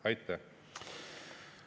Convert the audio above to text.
Aitäh!